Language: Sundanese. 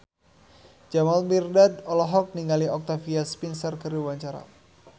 Jamal Mirdad olohok ningali Octavia Spencer keur diwawancara